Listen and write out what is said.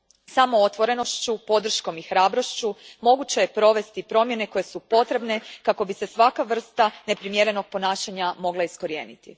Samo otvorenošću, podrškom i hrabrošću moguće je provesti promjene koje su potrebne kako bi se svaka vrsta neprimjerenog ponašanja mogla iskorijeniti.